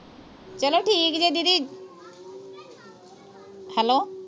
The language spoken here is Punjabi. ਚੱਲੋ ਠੀਕ ਜੇ ਦੀਦੀ hello